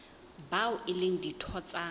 bao e leng ditho tsa